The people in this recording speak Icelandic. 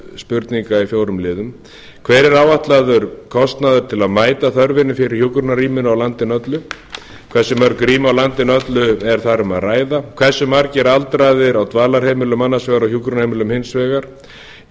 spurninga í fjórum liðum fyrstu hver er áætlaður kostnaður við að mæta þörfinni fyrir hjúkrunarrými á landinu öllu öðru hversu mörg rými á landinu öllu er um að ræða þriðja hve margir aldraðir eru á dvalarheimilum annars vegar og hjúkrunarheimilum hins vegar